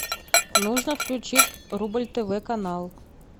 нужно включить рубль тв канал